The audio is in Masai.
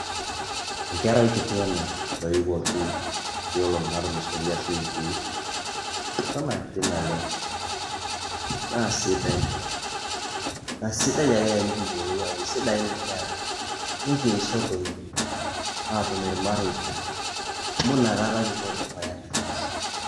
enkerai kiti ena natoiwuoki nkuti olongi natulusotie ashu iwiki ,eton akiti naleng na sidai na sidai ake tenikiyuolou ajo kisidan inkera nikisho doi atum ilmareita amu inakata kipo dukuya temaisha.